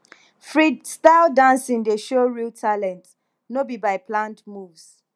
freestyle dancing dey show real talent no be by planned moves